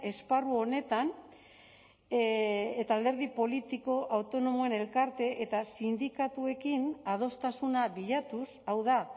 esparru honetan eta alderdi politiko autonomoen elkarte eta sindikatuekin adostasuna bilatuz hau da